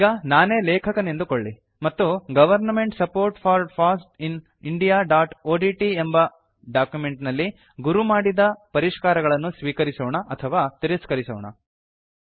ಈಗ ನಾನೇ ಲೇಕಖನೆಂದುಕೊಳ್ಳಿ ಮತ್ತು government support for foss in indiaಒಡಿಟಿ ಎಂಬ ಡಾಕ್ಯುಮೆಂಟ್ ನಲ್ಲಿ ಗುರು ಮಾಡಿದ ಪರಿಷ್ಕಾರಗಳನ್ನು ಸ್ವೀಕರಿಸೋಣ ಅಥವಾ ತಿರಸ್ಕರಿಸೋಣ